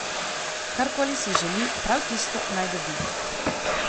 Kar koli si želi, prav tisto naj dobi.